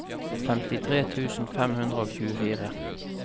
femtitre tusen fem hundre og tjuefire